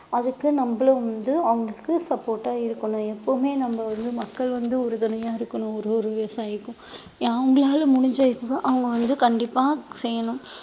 அதுக்கு நம்மளும் வந்து அவங்களுக்கு support ஆ இருக்கணும் எப்பவுமே நம்ம வந்து மக்கள் வந்து உறுதுணையா இருக்கணும் ஒரு ஒரு விவசாயிக்கும் அவங்களால முடிஞ்ச இதுவ அவங்க வந்து கண்டிப்பா செய்யணும்